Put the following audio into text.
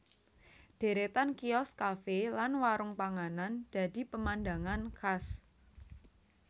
Deretan kios kafe lan warung panganan dadi pemandangan khas